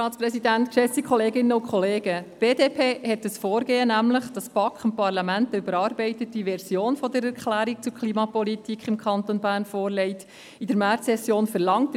Die BDP verlangte in der Märzsession das Vorgehen, wonach die BaK dem Parlament eine überarbeitete Version der «Erklärung zur Klimapolitik im Kanton Bern» vorlegen soll.